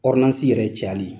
yɛrɛ cayali